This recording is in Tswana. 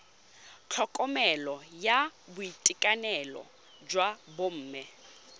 tlhokomelo ya boitekanelo jwa bomme